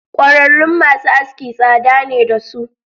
Kwararun masu aski tsada ne dasu.